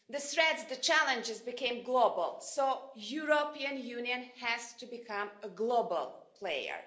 The threats, the challenges, became global, so the European Union has to become a global player.